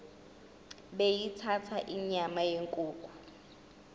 beyithanda inyama yenkukhu